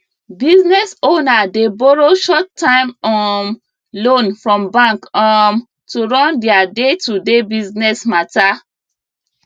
business owner dey borrow shorttime um loan from bank um to run their daytoday business matter